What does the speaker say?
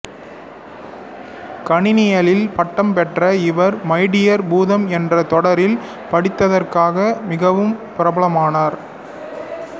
கணினியியலில் பட்டம் பெற்ற இவர் மை டியர் பூதம் என்ற தொடரில் நடித்ததற்காக மிகவும் பிரபலமானவர்